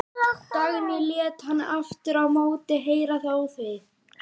Dagný lét hann aftur á móti heyra það óþvegið.